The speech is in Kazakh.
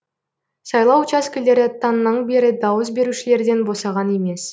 сайлау учаскелері таңнан бері дауыс берушілерден босаған емес